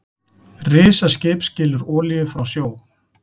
Risaskip skilur olíu frá sjó